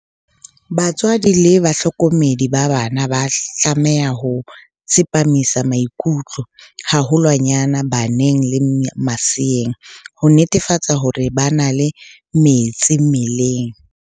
Batswadi le bahlokomedi ba bana ba tlameha ho tsepamisa maikutlo haholwanyane baneng le maseeng, ho netefatsa hore ba na le metsi mmeleng.